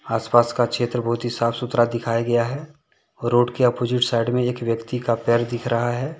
आसपास का क्षेत्र बहुत ही साफ सुथरा दिखाया गया है रोड के अपोजिट साइड में एक व्यक्ति का पैर दिख रहा है।